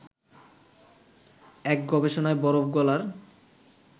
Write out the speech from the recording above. এক গবেষণায় বরফ গলার